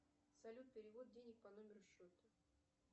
салют перевод денег по номеру счета